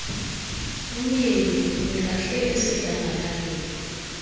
umyeni uyilahle esidlangalaleni